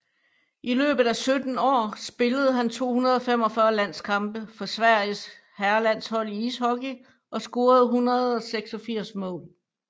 I løbet af 17 år spillede han 245 landskampe for Sveriges herrelandshold i ishockey og scorede 186 mål